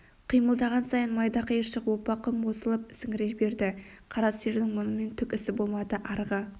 қимылдаған сайын майда қиыршық оппа құм осылып сіңіре берді қара сиырдың мұнымен түк ісі болмады арғы